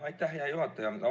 Aitäh, hea juhataja!